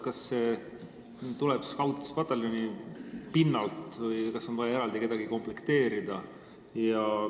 Kas see tuleb Scoutspataljonist või on vaja see eraldi komplekteerida?